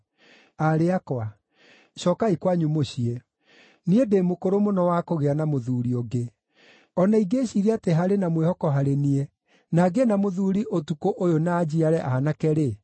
Aarĩ akwa, cookai kwanyu mũciĩ; niĩ ndĩ mũkũrũ mũno wa kũgĩa na mũthuuri ũngĩ. O na ingĩĩciiria atĩ harĩ na mwĩhoko harĩ niĩ, na ngĩe na mũthuuri ũtukũ ũyũ na njiare aanake-rĩ,